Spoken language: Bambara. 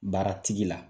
Baara tigi la